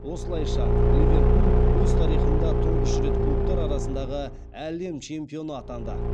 осылайша ливерпуль өз тарихында тұңғыш рет клубтар арасындағы әлем чемпионы атанды